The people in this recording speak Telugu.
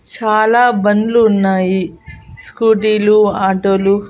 చాలా బండ్లు ఉన్నాయి స్కూటీ లు ఆటో లు.